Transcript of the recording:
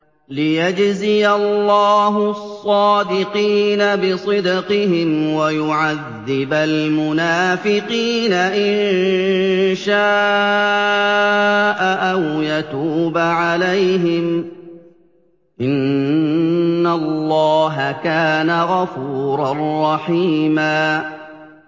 لِّيَجْزِيَ اللَّهُ الصَّادِقِينَ بِصِدْقِهِمْ وَيُعَذِّبَ الْمُنَافِقِينَ إِن شَاءَ أَوْ يَتُوبَ عَلَيْهِمْ ۚ إِنَّ اللَّهَ كَانَ غَفُورًا رَّحِيمًا